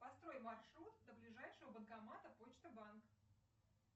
построй маршрут до ближайшего банкомата почта банк